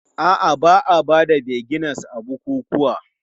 A'a, ba a ba da vinegar a bukukuwa.